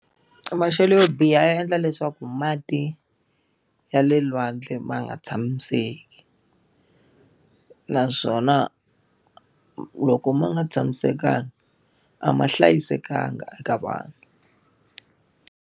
Maxelo yo biha ya endla leswaku mati ya le lwandle ma nga tshamiseki. Naswona loko ma nga tshamisekanga, a ma hlayisekanga eka vanhu.